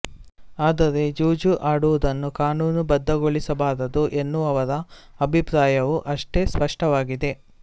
ಆದರೆ ಜೂಜು ಆಡುವುದನ್ನು ಕಾನೂನು ಬದ್ಧಗೊಳಿಸಬಾರದು ಎನ್ನುವವರ ಅಭಿಪ್ರಾಯವೂ ಅಷ್ಟೇ ಸ್ಪಷ್ಟವಾಗಿದೆ